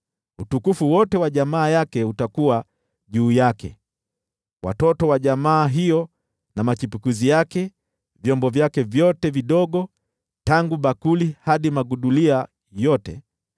Utukufu wote wa jamaa yake utakuwa juu yake: Watoto wa jamaa hiyo na machipukizi yake, vyombo vyake vyote vidogo, tangu bakuli hadi magudulia yote.”